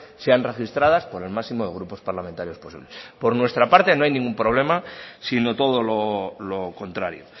sean registradas por el máximo de grupos parlamentarios posibles por nuestra parte no hay ningún problema sino todo lo contrario